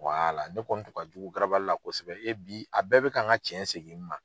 ne kɔni tun ka jugu la kosɛbɛ, bi a bɛɛ bi ka n ka cɛn segin n ma.